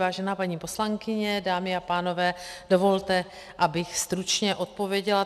Vážená paní poslankyně, dámy a pánové, dovolte, abych stručně odpověděla.